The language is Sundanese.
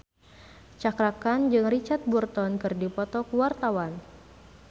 Cakra Khan jeung Richard Burton keur dipoto ku wartawan